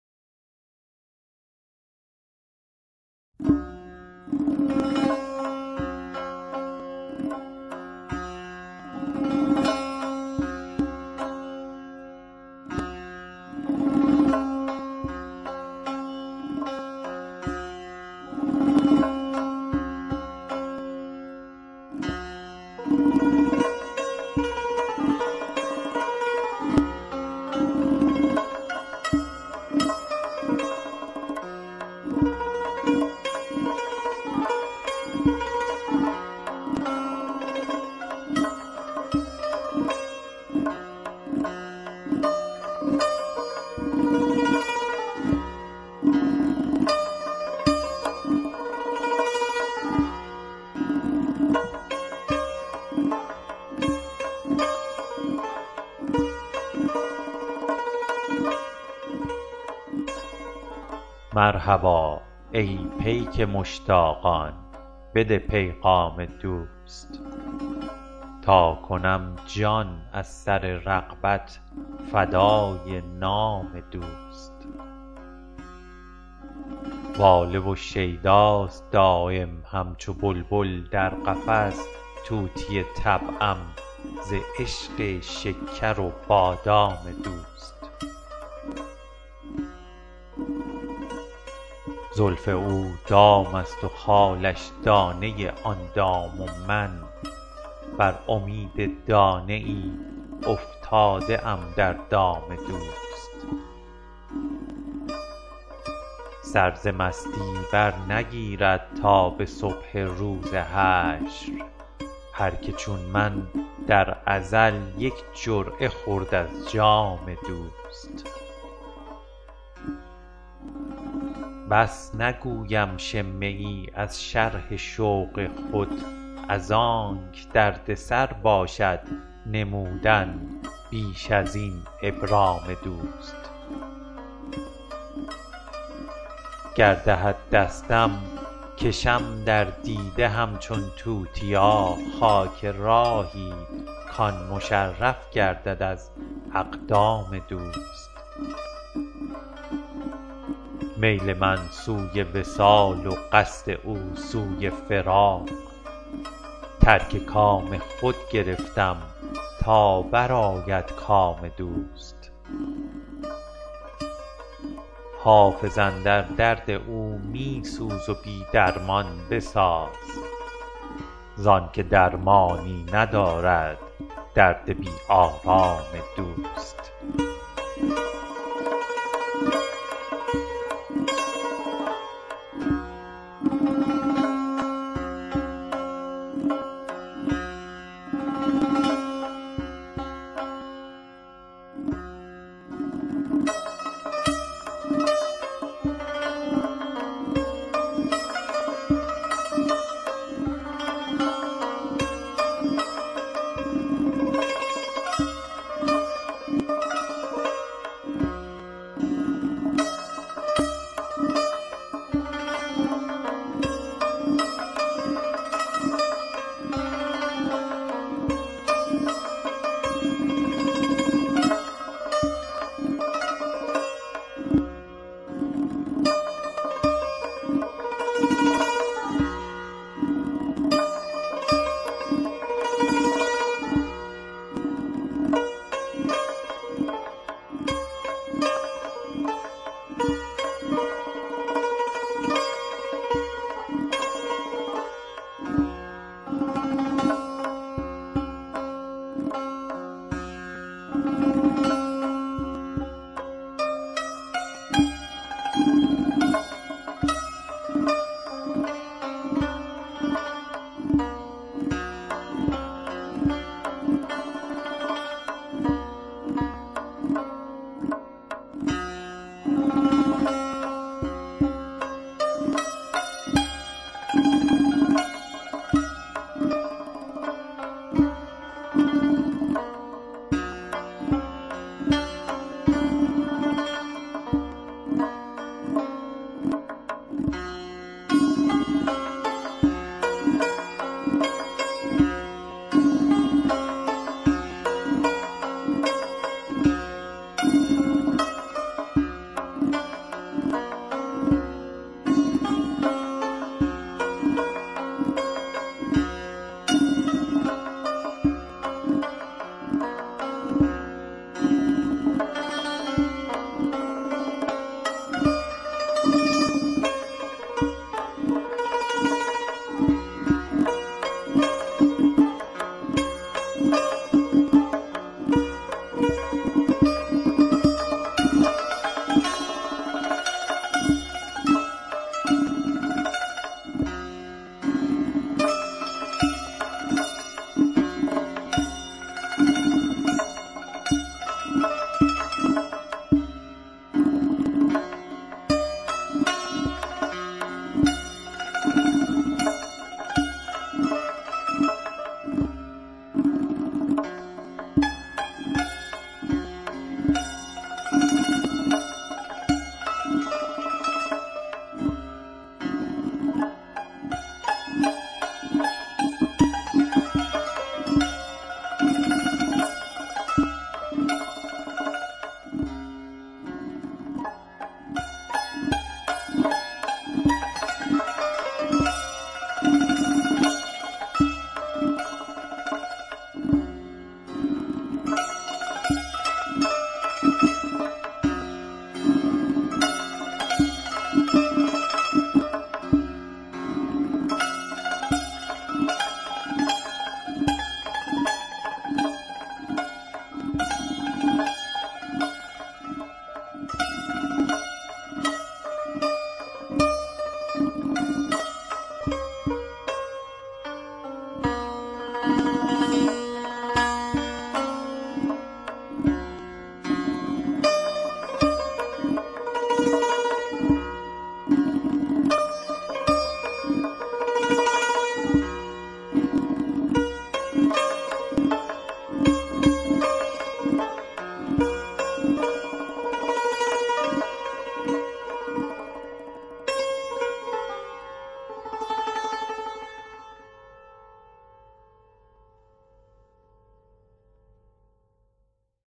مرحبا ای پیک مشتاقان بده پیغام دوست تا کنم جان از سر رغبت فدای نام دوست واله و شیداست دایم همچو بلبل در قفس طوطی طبعم ز عشق شکر و بادام دوست زلف او دام است و خالش دانه آن دام و من بر امید دانه ای افتاده ام در دام دوست سر ز مستی برنگیرد تا به صبح روز حشر هر که چون من در ازل یک جرعه خورد از جام دوست بس نگویم شمه ای از شرح شوق خود از آنک دردسر باشد نمودن بیش از این ابرام دوست گر دهد دستم کشم در دیده همچون توتیا خاک راهی کـ آن مشرف گردد از اقدام دوست میل من سوی وصال و قصد او سوی فراق ترک کام خود گرفتم تا برآید کام دوست حافظ اندر درد او می سوز و بی درمان بساز زان که درمانی ندارد درد بی آرام دوست